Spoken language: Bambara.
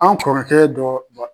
An kɔrɔkɛ dɔ